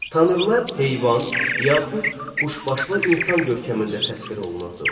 Tanrılar heyvan, yaxud quşbaşlı insan görkəmində təsvir olunurdu.